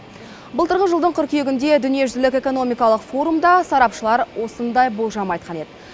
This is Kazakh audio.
былтырғы жылдың қыркүйегінде дүниежүзілік экономикалық форумда сарапшылар осындай болжам айтқан еді